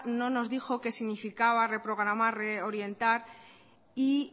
no nos dijo qué significaba reprogramar reorientar y